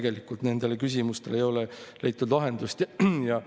Pigem ikka vastupidi, mandaati küsiti inimestelt valimiste ajal, mitte neile ei lajatatud pärast.